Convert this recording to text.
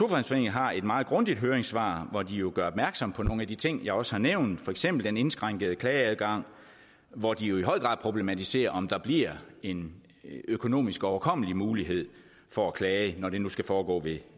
har et meget grundigt høringssvar hvori de jo gør opmærksom på nogle af de ting jeg også har nævnt for eksempel den indskrænkede klageadgang hvor de jo i høj grad problematiserer om der bliver en økonomisk overkommelig mulighed for at klage når det nu skal foregå ved